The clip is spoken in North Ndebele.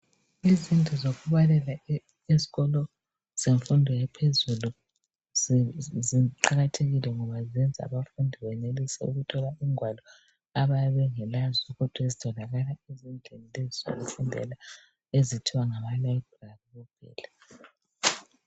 Izindlu zokubalela ezikolo zemfundo yaphezulu ziqakathekile ngoba zenza abafundi benelise ukuthola ingwalo abayabe bengelazo kodwa ezitholakala ezindlini lezo zokufundela ezithiwa ngama "library" kuphela.